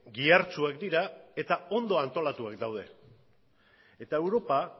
gihartsuak dira eta ondo antolatuak daude eta europa